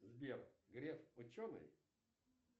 сбер греф ученый